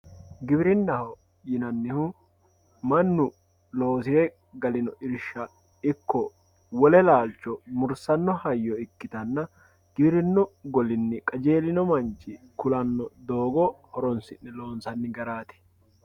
giwirinnaho yinannihu mannu loosire gallinno irsha ikko wole laalcho mursanno hayyo ikkitanna giwirinnu golinni qajeelino manni kulanno doogo horonsi'ne loonsanni garaati